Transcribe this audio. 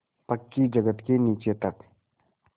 पक्की जगत के नीचे तक